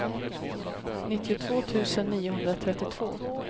nittiotvå tusen niohundratrettiotvå